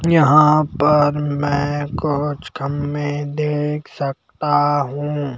यहां पर मैं कोच खंभे देख सकता हूं।